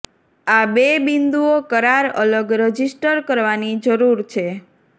આ બે બિન્દુઓ કરાર અલગ રજિસ્ટર કરવાની જરૂર છે